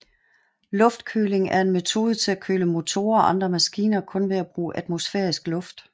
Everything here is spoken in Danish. Luftkøling er en metode til at køle motorer og andre maskiner kun ved at bruge atmosfærisk luft